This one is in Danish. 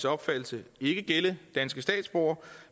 opfattelse ikke gælde danske statsborgere